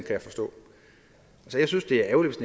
jeg forstå jeg synes det er ærgerligt